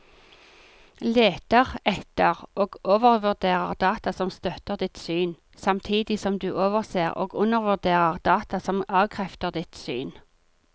Leter etter og overvurderer data som støtter ditt syn, samtidig som du overser og undervurderer data som avkrefter ditt syn.